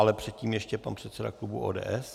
Ale předtím ještě pan předseda klubu ODS.